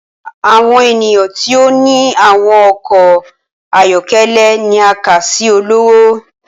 Awọn eniyan ti o ni awọn ọkọ ayọkẹlẹ ni a kà si ọlọwọ.